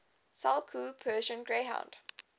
saluki persian greyhound